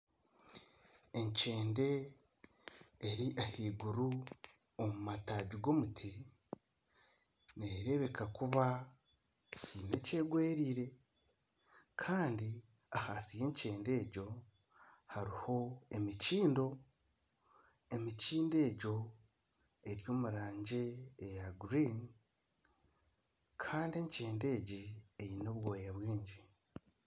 Enkyende eri ahaiguru omu mataagi g'omuti. Nereebeka kuba heine ekyegwereire kandi ahansi y'enkyende egyo hariho emikindo. Emikindo egyo eri omu rangi ya kinyaatsi kandi enkyende egi eine obwoya bwingi.